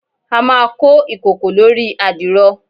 a ma ko ikoko lori adiro